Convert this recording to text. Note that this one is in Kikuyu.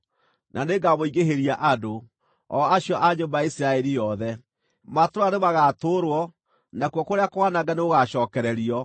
na nĩngamũingĩhĩria andũ, o acio a nyũmba ya Isiraeli yothe. Matũũra nĩmagatũũrwo, nakuo kũrĩa kwanange nĩgũgacookererio.